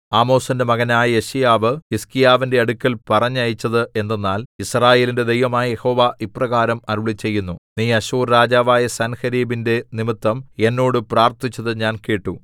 ആമോസിന്റെ മകനായ യെശയ്യാവ് ഹിസ്കീയാവിന്റെ അടുക്കൽ പറഞ്ഞയച്ചത് എന്തെന്നാൽ യിസ്രായേലിന്റെ ദൈവമായ യഹോവ ഇപ്രകാരം അരുളിച്ചെയ്യുന്നു നീ അശ്ശൂർ രാജാവായ സൻഹേരീബിന്റെ നിമിത്തം എന്നോട് പ്രാർത്ഥിച്ചത് ഞാൻ കേട്ടു